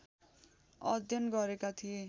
अध्ययन गरेका थिए